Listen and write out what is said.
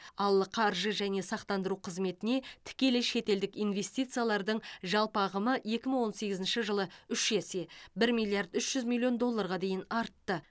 ал қаржы және сақтандыру қызметіне тікелей шетелдік инвестициялардың жалпы ағымы екі мың он сегізінші жылы үш есе бір миллиард үш жүз миллион долларға дейін артты